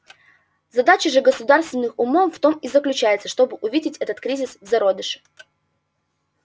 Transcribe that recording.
задача же государственных умов в том и заключается чтобы увидеть этот кризис в зародыше